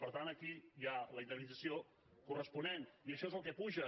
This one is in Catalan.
per tant aquí hi ha la indemnització corresponent i això és el que puja